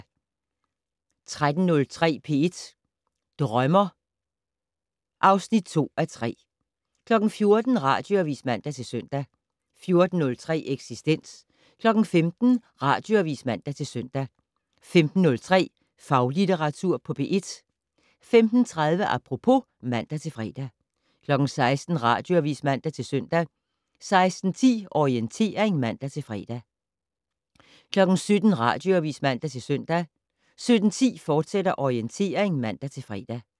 13:03: P1 Drømmer (2:3) 14:00: Radioavis (man-søn) 14:03: Eksistens 15:00: Radioavis (man-søn) 15:03: Faglitteratur på P1 15:30: Apropos (man-fre) 16:00: Radioavis (man-søn) 16:10: Orientering (man-fre) 17:00: Radioavis (man-søn) 17:10: Orientering, fortsat (man-fre)